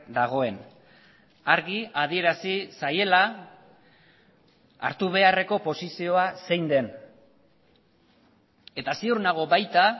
dagoen argi adierazi zaiela hartu beharreko posizioa zein den eta ziur nago baita